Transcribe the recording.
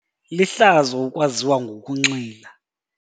Lihlazo ukwaziwa ngokunxila.